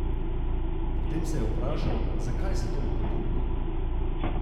Potem se je vprašal, zakaj se toliko trudi.